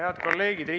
Head kolleegid!